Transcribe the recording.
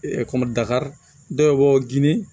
kɔmi dakari dɔw bɛ bɔ gindo